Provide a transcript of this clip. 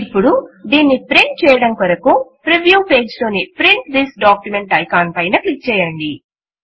ఇప్పుడు దీనిని ప్రింట్ చేయడము కొరకు ప్రివ్యూ పేజ్ లోని ప్రింట్ థిస్ డాక్యుమెంట్ ఐకాన్ పైన క్లిక్ చేయండి